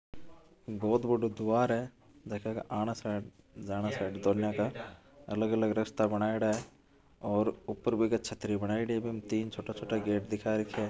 बहुत बड़ाे द्वार है जका के आना साइड जाना साइड दोनों का अलग अलग रास्ता बनायोडा है और उपर बीके छत्री बनायोडी है बीमे तीन छोटा छोटा गेट दिखा रखिया है।